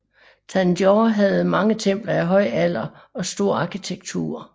Tanjore havde mange templer af høj alder og stor arkitektur